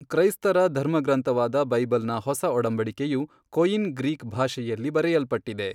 ಕೈಸ್ತರ ಧರ್ಮಗ್ರಂಥವಾದ ಬೈಬಲ್ ನ ಹೊಸಒಡಂಬಡಿಕೆಯು ಕೊಯಿನ್ ಗ್ರೀಕ್ ಭಾಷೆಯಲ್ಲಿ ಬರೆಯಲ್ಪಟ್ಟಿದೆ.